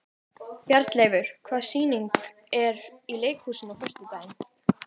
Bjarnleifur, hvaða sýningar eru í leikhúsinu á föstudaginn?